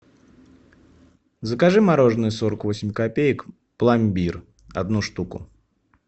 закажи мороженое сорок восемь копеек пломбир одну штуку